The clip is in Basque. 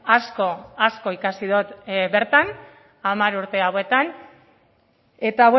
asko asko ikasi dut bertan hamar urte hauetan eta